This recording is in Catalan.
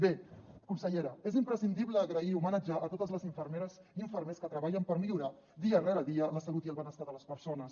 bé consellera és imprescindible donar les gràcies i homenatjar totes les infermeres i infermers que treballen per millorar dia rere dia la salut i el benestar de les persones